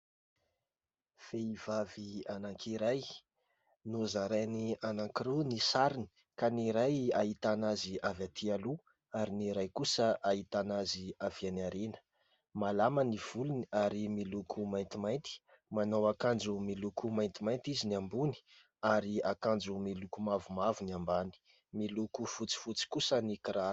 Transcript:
Vehivavy anankiray : nozarainy anankiroa ny sariny ka ny iray ahitana azy avy aty aloha ary ny iray kosa ahitana azy avy any aoriana, malama ny volony ary miloko maintimainty, manao akanjo miloko maintimainty izy ny ambony ary akanjo miloko mavomavo ny ambany, miloko fotsifotsy kosa ny kiraro.